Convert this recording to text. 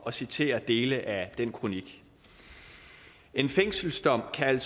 at citere dele af den kronik en fængselsdom kan